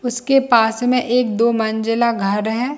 उसके पास में एक दो मंजिला घर है।